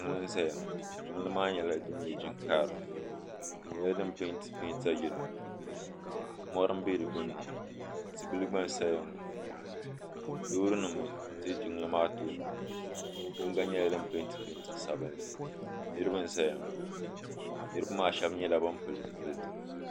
Jiŋli n zaya ŋɔ jiŋli maa nyɛla jiŋ'karili di nyɛla din penti penta yelo mori m be di gbinni ŋɔ tibila gba n saya ŋɔ loori nima n za jiŋli maa tooni ŋɔ yiŋga nyɛla din penti penta sabinli niriba n zaya ŋɔ niriba maa sheba nyɛla ban pili zipiliti.